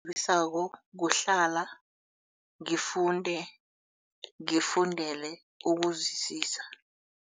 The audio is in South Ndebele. kuhlala ngifunde ngifundele ukuzwisisa.